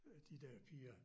Øh de der piger